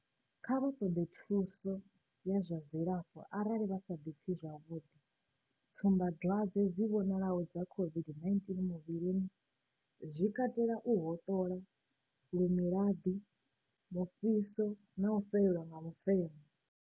Kha vha ṱoḓe thuso ya zwa dzilafho arali vha sa ḓipfi zwavhuḓi. Tsumbadwadze dzi vhonalaho dza COVID-19 muvhilini zwi katela u hoṱola, lumilaḓi, mufhiso na u fhelelwa nga mufemo.